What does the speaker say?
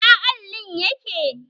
Ina allin yake?